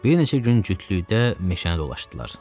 Bir neçə gün cütlükdə meşəni dolaşdılar.